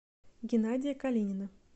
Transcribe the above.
геннадия калинина